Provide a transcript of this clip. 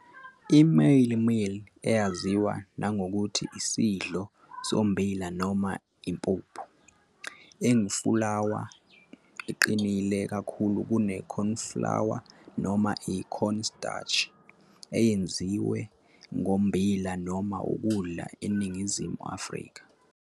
I-mielie meal, eyaziwa nangokuthi isidlo sombila noma impuphu, engufulawa, eqinile kakhulu kune-cornflour noma i-cornstarch, eyenziwe ngommbila noma Ukudla eNingizimu Afrika.